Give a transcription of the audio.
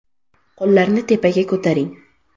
Qo‘llarni tepaga ko‘taring.